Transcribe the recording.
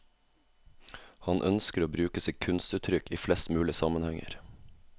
Han ønsker å bruke sitt kunstuttrykk i flest mulig sammenhenger.